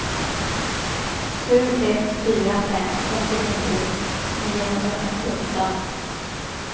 sju ett fyra fem åttionio niohundrafemtioåtta